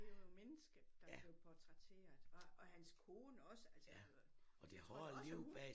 Det jo et menneske der blev portrætteret og og hans kone også altså tror da også at hun